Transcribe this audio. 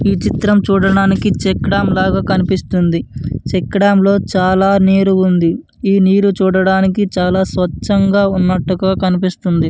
ఈ చిత్రం చూడడానికి చెక్కడం లాగా కనిపిస్తుంది. చెక్కడం లో చాల నీరు ఉంది ఈ నీరు చూడడానికి చాల స్వచ్చంగ ఉన్నట్టుగా కనిపిస్తుంది.